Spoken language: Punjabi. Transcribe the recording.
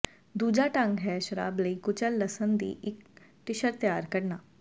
ਦੂਜਾ ਢੰਗ ਹੈ ਸ਼ਰਾਬ ਲਈ ਕੁਚਲ ਲਸਣ ਦੀ ਇੱਕ ਟਿਸ਼ਰ ਤਿਆਰ ਕਰਨਾ